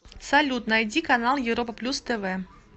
салют найди канал европа плюс тв